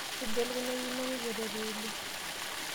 Suja elukunya ino keikerere oleng.